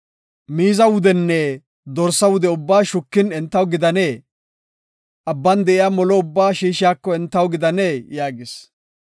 Miiza wudenne dorsa wude ubbaa shukin entaw gidanee? Abban de7iya molo ubbaa shiishiyako entaw gidanee?” yaagis.